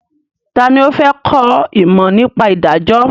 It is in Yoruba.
Ta ni ó fẹ́ kọ́ ìmọ̀ nípa ìdájọ́?